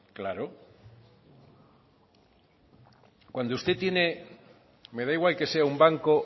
claro cuando usted tiene me da igual que sea un banco